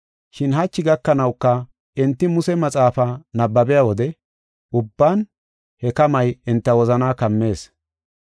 Shin hachi gakanawuka enti Muse maxaafaa nabbabiya wode ubban he kamay enta wozanaa kammees.